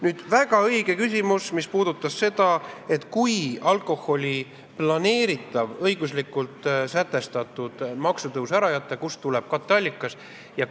Nüüd, väga õige küsimus: kui planeeritud ja õiguslikult sätestatud alkoholiaktsiisi tõus ära jätta, kust tuleb katteallikas?